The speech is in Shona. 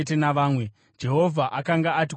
Jehovha akanga ati kuna Mozisi: